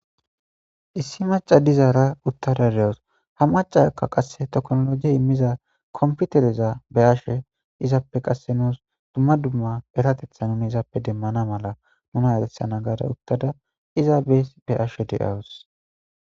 issi maca dizaara uttada dewus ha macaakka qasse toknologie immiza komputereza be ashe izaappe qasse nuus dumma dumma eratetha nuni izaappe demmana mala nuna eresana gaada uttada iza bee be ashe de7awus